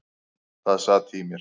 Það sat í mér.